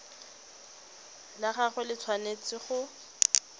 la gagwe le tshwanetse go